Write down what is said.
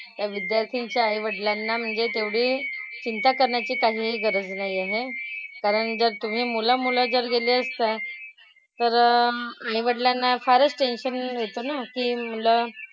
त्या विद्यार्थ्यांच्या आईवडिलांना म्हणजे तेवढी चिंता करण्याची काहीही गरज नाही आहे. कारण जर तुम्ही मुलं मुलं जर गेले असता तर आईवडिलांना फारच tension येतं ना की मुलं,